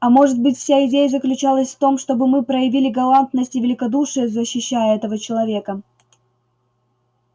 а может быть вся идея заключалась в том чтобы мы проявили галантность и великодушие защищая этого человека